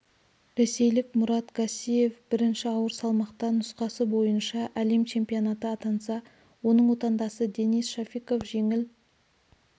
ресейлік мурат гассиев бірінші ауыр салмақта нұсқасы бойынша әлем чемпионы атанса оның отандасы денис шафиков жеңіл